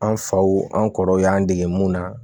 An faw an kɔrɔw y'an dege mun na